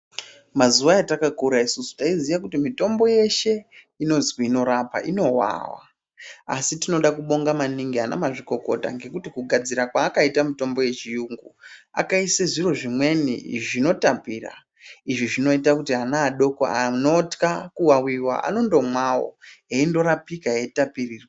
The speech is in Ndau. Mazuva etakakura isusu, taiziya kuti mitombo yeshe inozwi inorapa inovava, asi tinoda kubonga maningi anamazvikokota ngekuti kugadzira kwavakaita mitombo yechiyungu, akaise zviro zvimweni zvinotapira. Izvi zvinoita kuti vana vadoko vanotya kuwawiwa anondomawo eindorapika eitapirirwa.